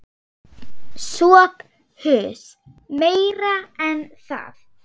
SOPHUS: Meira en það.